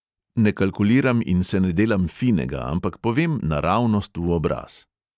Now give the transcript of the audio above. Ne kalkuliram in se ne delam finega, ampak povem naravnost v obraz.